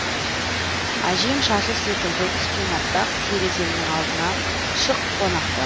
әжем шашы секілді түскен аппақ тереземнің алдына шық қонақтап